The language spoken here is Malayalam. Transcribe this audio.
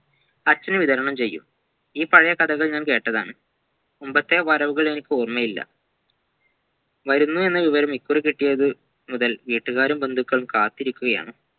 അച്ഛൻ വിതരണം ചെയ്യും ഈ പഴയ കഥകൾ ഞാൻ കേട്ടതാണ് മുമ്പത്തെ വരവുകൾ എനിക്ക് ഓർമയില്ല വരുന്നുവെന്ന വിവരം ഇ കുറികിട്ടിയത് മുതൽ വീട്ടുക്കാരും ബന്ധുക്കളും കാത്തിരിക്കുകയാണ്